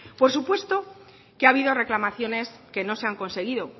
por supuesto que ha habido reclamaciones que no se han conseguido